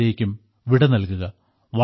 അതുവരേയ്ക്കും വിട നൽകുക